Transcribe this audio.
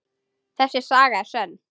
Þessi saga er sönn.